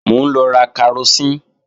Mò ń lọ ra karosín